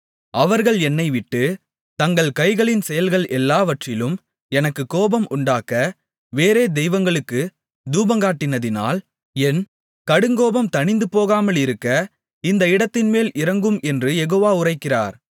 அவர்கள் என்னைவிட்டு தங்கள் கைகளின் செயல்கள் எல்லாவற்றிலும் எனக்குக் கோபம் உண்டாக்க வேறே தெய்வங்களுக்குத் தூபங்காட்டினதால் என் கடுங்கோபம் தணிந்து போகாமலிருக்க இந்த இடத்தின்மேல் இறங்கும் என்று யெகோவா உரைக்கிறார்